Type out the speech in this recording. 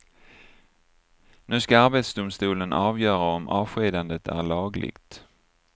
Nu ska arbetsdomstolen avgöra om avskedandet är lagligt.